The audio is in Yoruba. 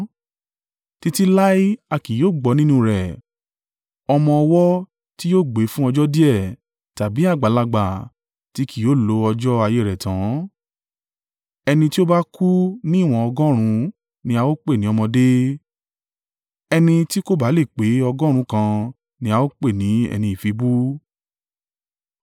“Títí láé a kì yóò gbọ́ nínú rẹ̀ ọmọ ọwọ́ tí yóò gbé fún ọjọ́ díẹ̀, tàbí àgbàlagbà tí kì yóò lo ọjọ́ ayé rẹ̀ tán; ẹni tí ó bá kú ní ìwọ̀n ọgọ́rùn-ún ni a ó pè ní ọ̀dọ́mọdé; ẹni tí kò ba le pé ọgọ́rùn-ún kan ni a ó pè ní ẹni ìfibú.